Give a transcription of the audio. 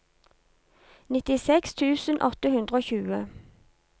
nittiseks tusen åtte hundre og tjue